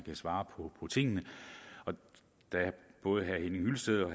svare på tingene og da både herre henning hyllested og